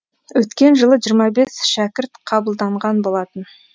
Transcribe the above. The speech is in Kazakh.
өткен жылы жиырма бес шәкірт қабылданған болатын